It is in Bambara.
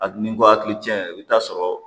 A n'i ko akili cɛ i bi taa sɔrɔ